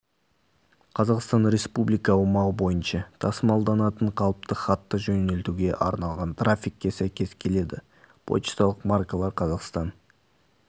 қазақстан республика аумағы бойынша тасымалданатын қалыпты хатты жөнелтуге арналған тарифке сәйкес келеді пошталық маркалар қазақстан